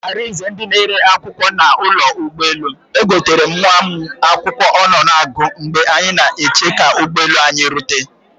Arize ndị na ele akwụkwọ na ụlọ ụgbọ elu, egoterem nwa mụ akwụkwọ ọ nọ na agụ mgbe anyị na eche ka ụgbọ elu anyị rute